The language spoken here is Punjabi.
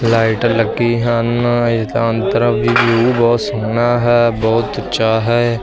ਲਾਈਟ ਲੱਗੀ ਹਨ ਇਸ ਦਾ ਅੰਤਰ ਵੀ ਵਿਊ ਬਹੁਤ ਸੋਹਣਾ ਹੈ ਬਹੁਤ ਉੱਚਾ ਹੈ।